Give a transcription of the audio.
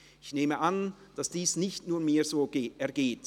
Ich nehme an, dass dies nicht nur mir so ergeht.